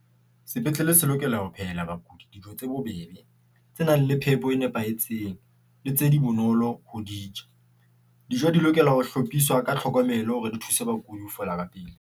Sepetlele se lokela ho phehela bakudi dijo tse bobebe, tse nang le phepo e nepahetseng le tse di bonolo ho di ja. Dijo di lokela ho hlophiswa ka tlhokomelo hore di thuse bakudi ho fola ka pele.